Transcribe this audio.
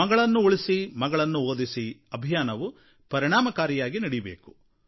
ಮಗಳನ್ನು ಉಳಿಸಿ ಮಗಳನ್ನು ಓದಿಸಿ ಅಭಿಯಾನವು ಪರಿಣಾಮಕಾರಿಯಾಗಿ ನಡೆಯಬೇಕು